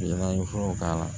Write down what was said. Yala n ye furaw k'a la